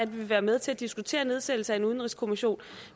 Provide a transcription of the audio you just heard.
vil være med til at diskutere nedsættelse af en udenrigskommission